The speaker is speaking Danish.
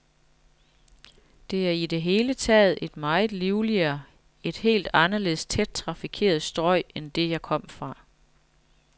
Det er i det hele taget et meget livligere, et helt anderledes tæt trafikeret strøg end det, jeg kom fra.